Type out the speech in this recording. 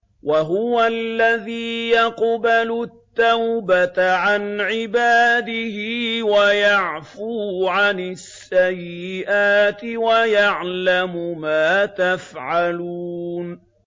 وَهُوَ الَّذِي يَقْبَلُ التَّوْبَةَ عَنْ عِبَادِهِ وَيَعْفُو عَنِ السَّيِّئَاتِ وَيَعْلَمُ مَا تَفْعَلُونَ